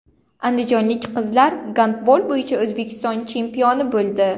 Andijonlik qizlar gandbol bo‘yicha O‘zbekiston chempioni bo‘ldi.